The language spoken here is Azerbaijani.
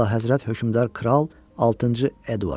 Əlahəzrət hökmdar kral altıncı Eduard.